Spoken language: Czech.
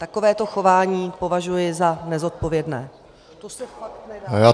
Takovéto chování považuji za nezodpovědné.